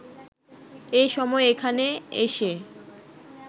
এ সময় এখানে এসে